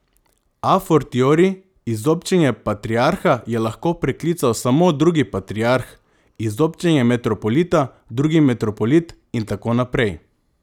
A fortiori, izobčenje patriarha je lahko preklical samo drugi patriarh, izobčenje metropolita drugi metropolit in tako naprej.